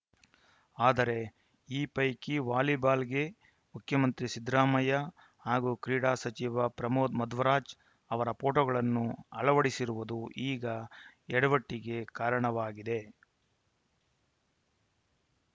ಆದರೆ ಈ ಪೈಕಿ ವಾಲಿಬಾಲ್‌ಗೆ ಮುಖ್ಯಮಂತ್ರಿ ಸಿದ್ದರಾಮಯ್ಯ ಹಾಗೂ ಕ್ರೀಡಾ ಸಚಿವ ಪ್ರಮೋದ್‌ ಮಧ್ವರಾಜ್‌ ಅವರ ಫೋಟೋಗಳನ್ನು ಅಳವಡಿಸಿರುವುದು ಈಗ ಎಡವಟ್ಟಿಗೆ ಕಾರಣವಾಗಿದೆ